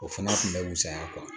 O fana tun bɛ saya